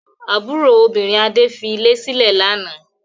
Àbúrò obìnrin Adé fi ilé sílẹ̀ lánàá?